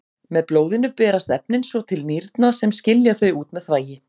Með blóðinu berast efnin svo til nýrna sem skilja þau út með þvagi.